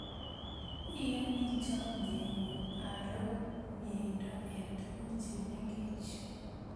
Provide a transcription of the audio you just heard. Iyoni chomye ng'ung' aro myeindo eng' tukuk che mengech.